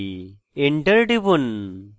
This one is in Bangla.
enter টিপুন